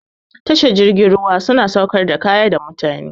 Tashar jirgin ruwa su na sauƙar da kaya da mutane.